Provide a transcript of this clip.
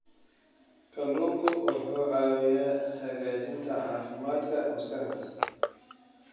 Kalluunku wuxuu caawiyaa hagaajinta caafimaadka maskaxda.